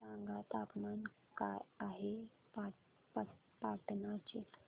सांगा तापमान काय आहे पाटणा चे